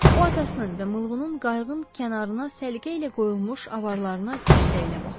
O atasının və Mılğının qayığın kənarına səliqə ilə qoyulmuş avarlarına qüssə ilə baxdı.